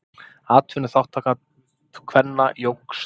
Atvinnuþátttaka kvenna jókst.